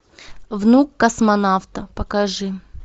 внук космонавта покажи